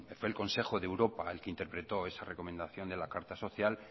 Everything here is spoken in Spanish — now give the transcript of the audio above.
fue el consejo de europa el que interpretó esa recomendación de la carta social